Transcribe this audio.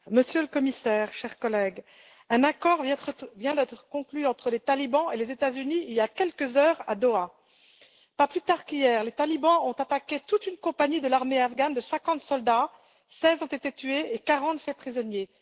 Monsieur le Président, Monsieur le Commissaire, chers collègues, un accord vient d'être conclu entre les talibans et les États Unis il y a quelques heures à Doha. Pas plus tard qu'hier, les talibans ont attaqué toute une compagnie de l'armée afghane, de 50 soldats 16 ont été tués et 40 faits prisonniers.